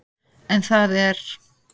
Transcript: En það er